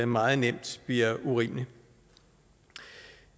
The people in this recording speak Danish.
meget nemt bliver urimelig